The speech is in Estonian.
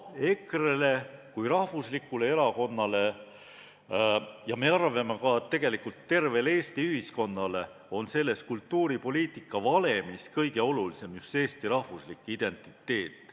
EKRE-le kui rahvuslikule erakonnale ja me arvame, et tegelikult tervele ühiskonnale on selles kultuuripoliitika valemis kõige olulisem just eesti rahvuslik identiteet.